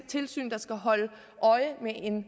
tilsyn der skal holde øje med en